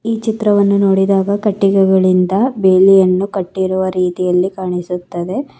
ಈ ಚಿತ್ರವನ್ನು ನೋಡಿದಾಗ ಕಟ್ಟಿಗೆಗಳಿಂದ ಬೇಲಿಯನ್ನು ಕಟ್ಟಿರುವ ರೀತಿಯಲ್ಲಿ ಕಾಣಿಸುತ್ತದೆ.